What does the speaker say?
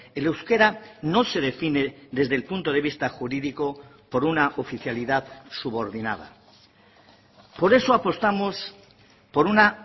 el euskera no se define desde el punto de vista jurídico por una oficialidad subordinada por eso apostamos por una